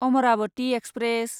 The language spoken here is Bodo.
अमरावति एक्सप्रेस